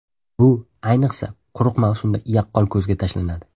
Bu, ayniqsa, quruq mavsumda yaqqol ko‘zga tashlanadi.